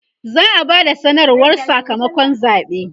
za'a Bada sanarwar Saka makon zaɓe